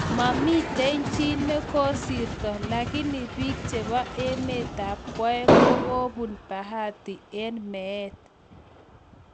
Mamitei chii nikosirto lakini pik chepo emet ab kwaeng kokopun�bahati�eng�meet